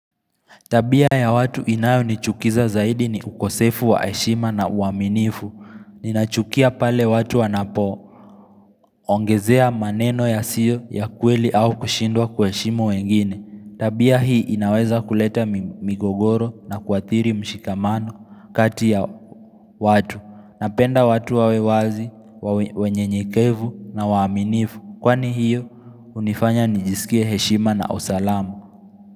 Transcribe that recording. Tabia ya watu inayo nichukiza zaidi ni ukosefu wa heshima na uaminifu. Ninachukia pale watu wanapo. Ongezea maneno ya siyo ya kweli au kushindwa kwa heshima wengine. Tabia hii inaweza kuleta migogoro na kuathiri mshikamano kati ya watu. Napenda watu wawe wazi, wenye nyekevu na waaminifu. Kwani hiyo hunifanya nijisikie heshima na usalama.